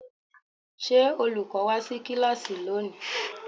Ṣé olùkọ́ wá sí kíláàsì lónìí?